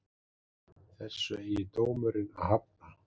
Þessu eigi dómurinn að hafna